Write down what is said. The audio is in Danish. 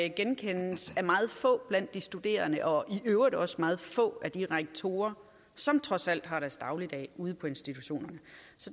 genkendes af meget få blandt de studerende og i øvrigt også meget få af de rektorer som trods alt har deres dagligdag ude på institutionerne